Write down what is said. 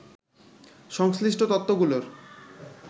সংশ্লিষ্ট তত্ত্বগুলোর